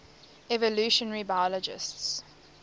evolutionary biologists